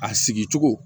A sigi cogo